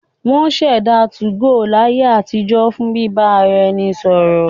Wọ́n ṣẹ̀dá 2go ní ayé àtijọ́ fún bíbá ara ẹni sọ̀rọ̀